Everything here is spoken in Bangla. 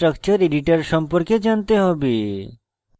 gchempaint chemical structure editor সম্পর্কে জানতে হবে